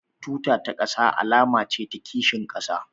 Tuta ta ƙasa alama ce ta kishin ƙasa